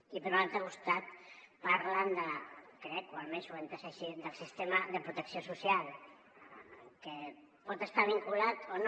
i per un altre costat parlen de crec o almenys ho he entès així del sistema de protecció social que pot estar vinculat o no